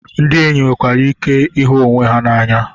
Ndị enyi nwekwara ike ịhụ onwe ha n'anya.